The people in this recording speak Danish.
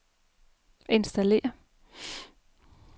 installér